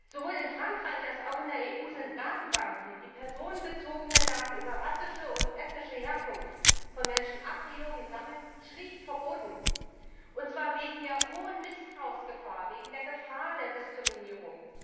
Sowohl in Frankreich als auch in der EU sind Datenbanken, die personenbezogene Daten über rassische und ethnische Herkunft von Personen a priori sammeln, schlicht verboten, und zwar wegen der hohen Missbrauchsgefahr, wegen der Gefahr der Diskriminierung.